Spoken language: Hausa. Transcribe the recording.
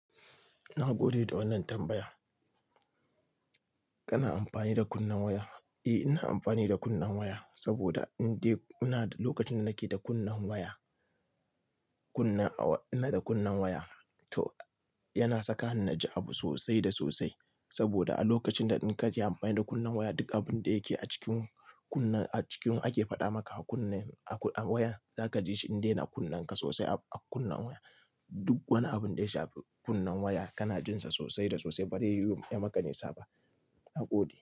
Na gode da wannan tambaya. Kana amfani da kunnen waya? Eh, ina amfani da kunnen waya saboda in dai ina da lokacin da nake da kunnen waya, kunna ina da kunnen waya to yana saka ni na ji abu sosai da sosai. Saboda a lokacin da in ka yi amfani da kunnen waya, duk abun da yake a cikin kunne a cikin ake faɗa maka a kunne a waya, za ka ji shi in dai naka kunna sosai a kunne waya. Duk wani abun da ya shafi kunnen waya kana jin sa sosai da sosai bare yiwu ya maka nisa ba nagode.